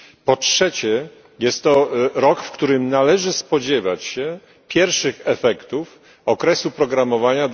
Po trzecie, jest to rok, w którym należy spodziewać się pierwszych efektów okresu programowania